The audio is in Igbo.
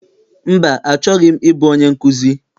Mba, achọghị m ịbụ onye nkụzi.